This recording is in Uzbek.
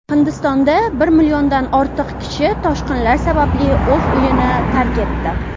Hindistonda bir milliondan ortiq kishi toshqinlar sababli o‘z uyini tark etdi.